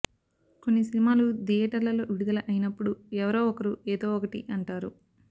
కొన్ని సినిమాలు థియేటర్లలో విడుదల అయినప్పుడు ఎవరో ఒకరు ఏదో ఒకటి అంటారు